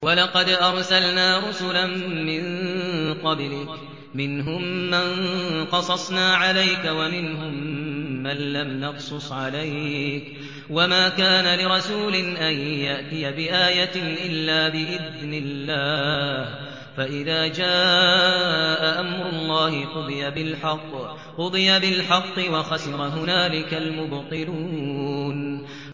وَلَقَدْ أَرْسَلْنَا رُسُلًا مِّن قَبْلِكَ مِنْهُم مَّن قَصَصْنَا عَلَيْكَ وَمِنْهُم مَّن لَّمْ نَقْصُصْ عَلَيْكَ ۗ وَمَا كَانَ لِرَسُولٍ أَن يَأْتِيَ بِآيَةٍ إِلَّا بِإِذْنِ اللَّهِ ۚ فَإِذَا جَاءَ أَمْرُ اللَّهِ قُضِيَ بِالْحَقِّ وَخَسِرَ هُنَالِكَ الْمُبْطِلُونَ